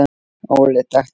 Óli þekkti.